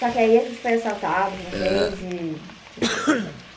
Só que aí a gente foi assaltado uma vez e desencanou.